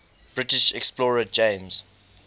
british explorer james